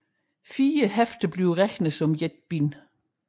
Fire hæfter regnes som et bind